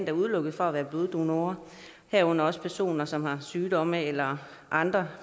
er udelukket fra at være bloddonorer herunder personer som har sygdomme eller andre